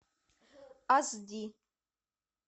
ас ди